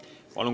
Palun!